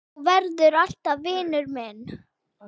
Þú verður alltaf vinur minn.